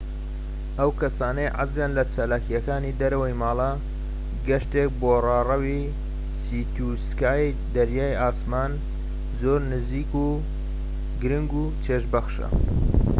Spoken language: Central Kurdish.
بۆ ئەو کەسانەی حەزیان لە چالاکیەکانی دەرەوەی ماڵە، گەشتێك بۆ ڕاڕەوی سی تو سکای دەریای ئاسمان زۆر گرنگ و چێژبەخشە